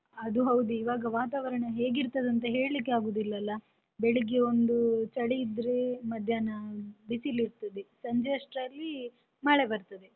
ಅದು ಹೌದು ಈವಾಗ ವಾತಾವರಣ ಹೇಗಿರ್ತದಂತ ಹೇಳಿಕ್ಕೆ ಆಗುದಿಲ್ಲಲ್ಲಾ, ಬೆಳಿಗ್ಗೆ ಒಂದು ಚಳಿ ಇದ್ರೆ, ಮಧ್ಯಾಹ್ನ ಬಿಸಿಲಿರ್ತದೆ ಸಂಜೆ ಅಷ್ಟರಲ್ಲಿ ಮಳೆ ಬರ್ತದೆ.